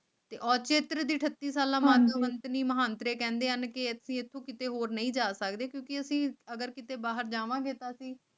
ਪਹੁੰਚੇ ਦਰਦ ਥਿਰਟੀ ਵਾਈਟ ਸਾਲਾ ਮਾਣਮੱਤੇ ਕਹਿੰਦੇ ਹਨ ਕਿ ਹੇ ਧੀਏ ਤੂੰ ਕਿਤੇ ਹੋਰ ਨਹੀਂ ਡਰ ਹੈ ਕਿ ਕਿਤੇ ਬਾਹਰ ਜਾਵਾਂਗੇ ਤਾਂ ਅਸੀਂ